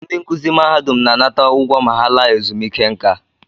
Ndị nkụzi mahadum na-anata ụgwọ ma ha laa ezumike nká